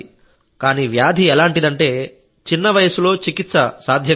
కానీ వ్యాధి ఎలాంటిదంటే చిన్న వయస్సులో చికిత్స సాధ్యం కాదు